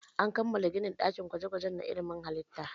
An kammala ginin ɗakin gwaje-gwaje na ilimin halitta.